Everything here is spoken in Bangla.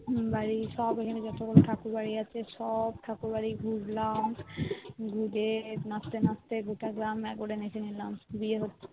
হম বাড়ির সব এখানে যত গুলো ঠাকুর বাড়ি আছে সব ঠাকুর বাড়ি ঘুরলাম ঘুরে নাচতে নাচতে গোটা গ্রাম একেবারে নেচে নিলাম